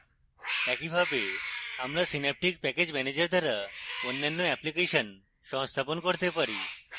একইভাবে আমরা synaptic package manager দ্বারা অন্যান্য অ্যাপ্লিকেশন সংস্থাপন করতে পারি